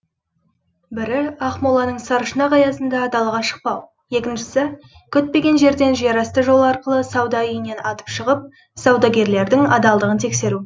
бірі ақмоланың саршұнақ аязында далаға шықпау екіншісі күтпеген жерден жерасты жолы арқылы сауда үйінен атып шығып саудагерлердің адалдығын тексеру